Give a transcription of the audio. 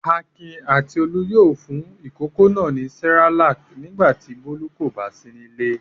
Akin àti Olú yóò fún ìkókó náà ní Cerelac nígbà tí Bólú kò bá sí nílé.